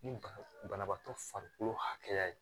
Ni banabaatɔ farikolo hakɛya ye